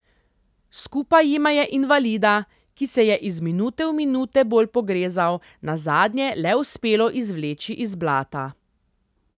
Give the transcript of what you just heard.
Skupaj jima je invalida, ki se je iz minute v minute bolj pogrezal, nazadnje le uspelo izvleči iz blata.